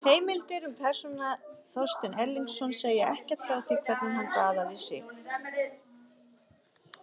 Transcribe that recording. Heimildir um persónuna Þorstein Egilsson segja ekkert frá því hvernig hann baðaði sig.